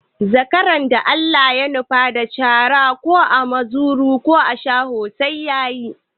Zakaran da Allah ya nufa da cara ko ana muzuru ana shaho sai ya yi.